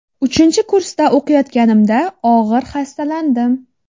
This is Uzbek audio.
Uchinchi kursda o‘qiyotganimda og‘ir xastalandim.